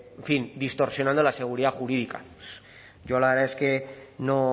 en fin distorsionando la seguridad jurídica yo la verdad es que no